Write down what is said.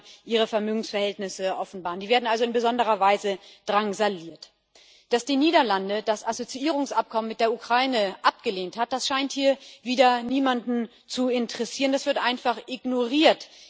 Die müssen dann ihre Vermögensverhältnisse offenbaren, die werden also in besonderer Weise drangsaliert. Dass die Niederlande das Assoziierungsabkommen mit der Ukraine abgelehnt haben, scheint hier wieder niemanden zu interessieren, das wird einfach ignoriert.